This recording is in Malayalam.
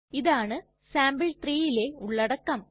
ഇതാണ് sample3ലെ ഉള്ളടക്കം